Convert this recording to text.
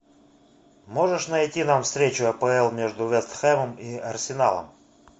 можешь найти нам встречу апл между вест хэмом и арсеналом